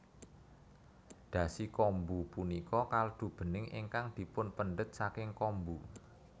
Dashi kombu punika kaldu bening ingkang dipunpendhet saking kombu